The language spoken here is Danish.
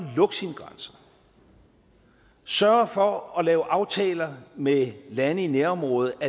lukke sine grænser sørger for at lave aftaler med lande i nærområderne